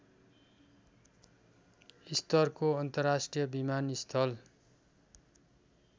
स्तरको अन्तर्राष्ट्रिय विमानस्थल